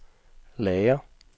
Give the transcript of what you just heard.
lager